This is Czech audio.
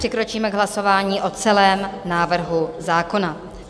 Přikročíme k hlasování o celém návrhu zákona.